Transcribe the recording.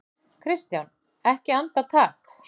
KRISTJÁN: Ekki andartak?